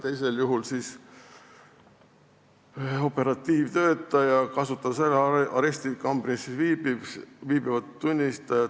Teisel juhul kasutas operatiivtöötaja ära arestikambris viibivat tunnistajat.